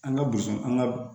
An ka boso an ka